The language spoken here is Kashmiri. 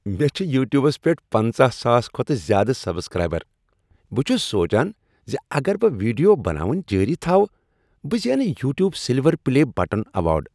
مےٚ چھِ یوُ ٹیوبس پیٹھ پنژَہ ساس کھۄتہٕ زیادٕہ سبسکرایبر بہٕ چھُس سوچان زِ اگر بہٕ ویڈیو بناوٕنۍ جٲری تھوٕ ، بہٕ زینہٕ "YouTube silver play button" award